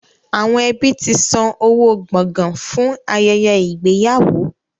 Àwọn ẹbí ti san owó gbọ̀gàn fún ayẹyẹ ìgbéyàwó.